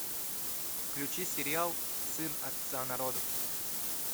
включи сериал сын отца народов